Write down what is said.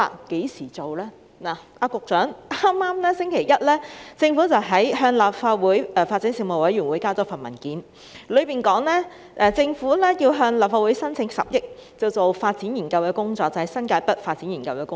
局長，在剛過去的星期一，政府向立法會發展事務委員會提交一份文件，當中提到政府要向立法會申請10億元進行新界北發展研究的工作。